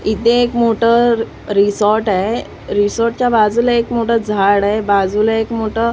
इथे एक मोठं रिसॉर्ट आहे रिसॉर्ट च्या बाजूला एक मोठं झाड आहे बाजूला एक मोठं --